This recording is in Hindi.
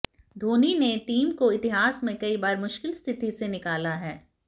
धोनी ने टीम को इतिहास में कई बार मुश्किल स्थिति से निकाला है